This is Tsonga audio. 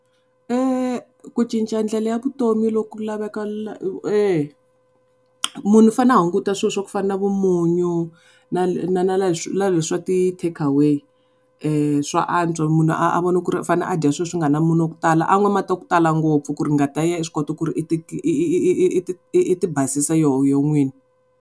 Ku cinca ndlela ya vutomi lo ku laveka . Munhu u fanele a hunguta swilo swa ku fana na munyu na na leswi swa ti takeaway swa antswa munhu a a vona ku ri u fane a dya swilo swi nga ri na munyu wa ku tala, an'wa mati ya ku tala ngopfu ku ri ngati ya yena yi swi kota ku ri yi ti yi ti yi ti basisa yoho n'wini.